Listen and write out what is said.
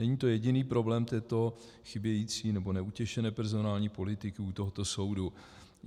Není to jediný problém této chybějící, nebo neutěšené personální politiky u tohoto soudu.